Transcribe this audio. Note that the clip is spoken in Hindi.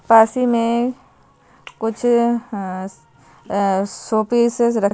पास ही में कुछ अं शोपीसेज रखे--